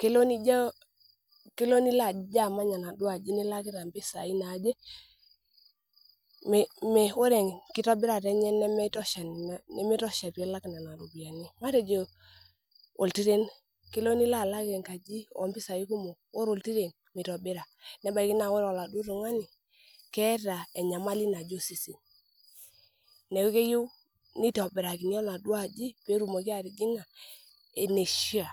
kelo nijo aamany enaduo aji nilo ake nilakita impisai naaje mi oreenkitobirata enye nimitosha piilak nena ropiani matejo oltiren kelo nilo aalak enkaji oompisai kumok ore oltiren mitobira nebaiki naai naa ore oladii tung'ani keeta enyamali naje osesen neaku keyieu nitobirakini enaduo aji peetumoki atijing'a eneishia